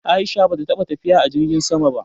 A'isha bata taɓa tafiya a jirgin sama ba.